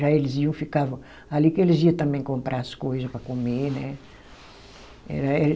Já eles iam, ficavam ali que eles iam também comprar as coisa para comer, né?